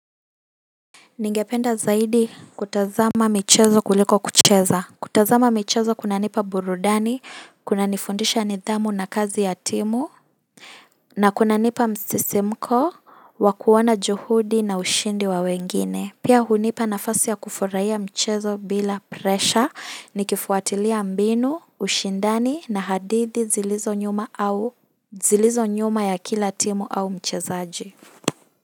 Ningependa zaidi kutazama michezo kuliko kucheza kutazama michezo kunanipa burudani, kunanifundisha nidhamu na kazi ya timu na kunanipa msisimko wa kuona juhudi na ushindi wa wengine pia hunipa nafasi ya kufurahia michezo bila presha nikifuatilia mbinu, ushindani na hadithi zilizo nyuma ya kila timu au mchezaji.